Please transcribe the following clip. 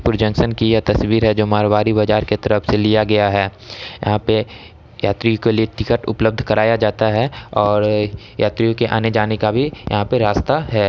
प्रोजेन्सन तस्वीर है जो मारवाड़ी बाजार के तरफ से लिया गया है यहाँ पे यात्री के लिए टिकट उपलब्ध कराया जाता है और यात्रियों के आने जाने का भी यहाँ पे रास्ता है।